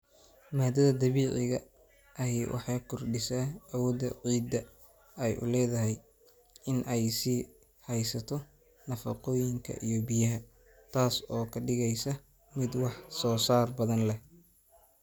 Maaddada dabiiciga ahi waxay kordhisaa awoodda ciidda ay u leedahay in ay sii haysato nafaqooyinka iyo biyaha, taas oo ka dhigaysa mid wax soo saar badan leh.